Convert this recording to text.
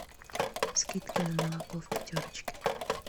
скидки на молоко в пятерочке